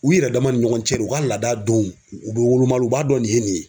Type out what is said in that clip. U yɛrɛ dama ni ɲɔgɔn cɛ u ka laada dɔw u bɛ woloma u b'a dɔn nin ye nin ye